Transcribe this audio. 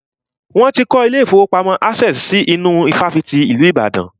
Wọ́n ti kọ́ ilé ìfọwọ́pamo Access si inú ifáfitì ìlú Ìbàdàn.